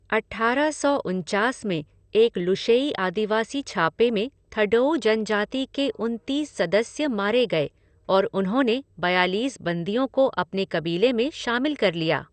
अट्ठारह सौ उनचास में एक लुशेई आदिवासी छापे में थडोऊ जनजाति के उनतीस सदस्य मारे गए और उन्होंने बयालीस बंदियों को अपने कबीले में शामिल कर लिया।